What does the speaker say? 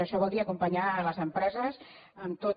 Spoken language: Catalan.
això vol dir acompanyar les empreses en tota